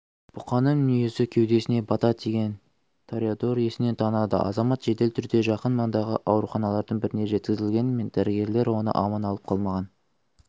бұқаның мүйізі кеудесіне бата тиген тореадор есінен танады азамат жедел түрде жақын маңдағы ауруханалардың біріне жеткізілгенімен дәрігерлер оны аман алып қалмаған